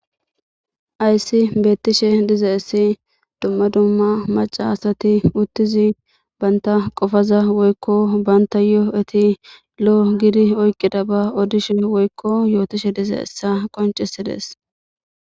ayssi beettishe diza issi dumma dumma maca asati uttizi baynta qofaza woykko banta yoo7eti lo7o gidi oyqida ba odishe woykko yootishe dize essa qoncisides